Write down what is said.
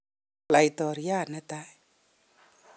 Laitoriat ne tai.